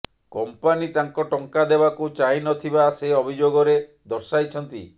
company ତାଙ୍କ ଟଙ୍କା ଦେବାକୁ ଚାହିଁ ନ ଥିବା ସେ ଅଭିଯୋଗରେ ଦର୍ଶାଇଛନ୍ତି